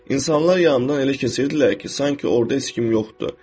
İnsanlar yanımdan elə keçirdilər ki, sanki orda heç kim yoxdur.